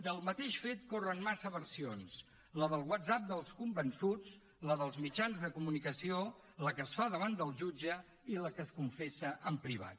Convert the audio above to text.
del mateix fet corren massa versions la del whatsapp dels convençuts la dels mitjans de comunicació la que es fa davant del jutge i la que es confessa en privat